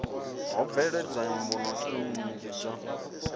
ho bveledzwa mbuno nnzhi dzo